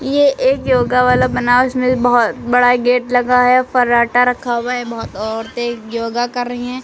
ये एक योगा वाला में बहोत बड़ा गेट लगा है फराटा रखा हुआ है बहुत औरतें योगा के रही हैं।